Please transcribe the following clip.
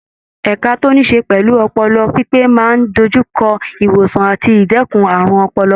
Ẹka tó níí ṣe pẹ̀lú ọpọlọ pípé máa ń dojú kọ ìwòsàn àti ìdẹ́kun àrùn ọpọlọ.